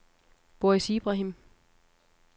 Boris Ibrahim